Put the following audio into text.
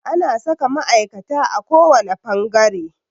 Ana saka ma'aikata a kowane fangare.